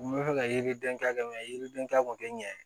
N bɛ fɛ ka yiriden ta kɛ yiriden ta kun tɛ ɲɛ